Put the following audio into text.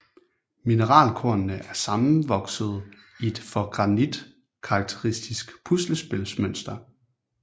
Mineralkornene er sammenvoksede i et for granit karakteristisk puslespilsmønster